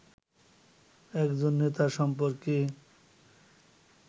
একজন নেতা সম্পর্কে